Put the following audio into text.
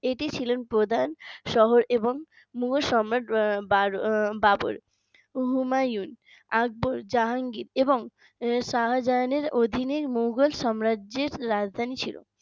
এটি ছিলেন প্রধানশহর এবং মুঘল সম্রাট বা বাবর হুমায়ুন আকবর জাহাঙ্গীর এবং শাহজাহানের অধীনে মোগল সাম্রাজ্যের রাজধানী ছিল